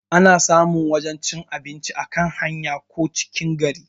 Ana samun wajan cin abinci a kan hanya ko cikin gari